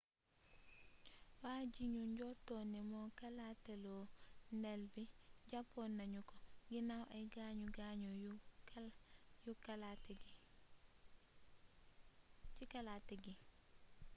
wajignu njorton ni mo kalatélo ndéll bi jàppnañu ko ginnaw ay gaañu gaañu ci kalaté gi